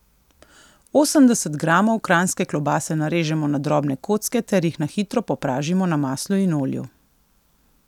Osemdeset gramov kranjske klobase narežemo na drobne kocke ter jih na hitro popražimo na maslu in olju.